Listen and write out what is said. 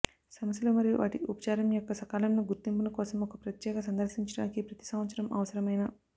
సమస్యలు మరియు వాటి ఉపచారం యొక్క సకాలంలో గుర్తింపును కోసం ఒక ప్రత్యేక సందర్శించడానికి ప్రతి సంవత్సరం అవసరమైన